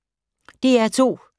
DR2